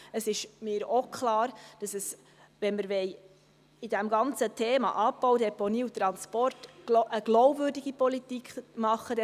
Weil: Es ist mir auch klar, dass es nicht nur Transparenz braucht, wenn wir in diesem ganzen ADT-Thema eine glaubwürdige Politik machen wollen.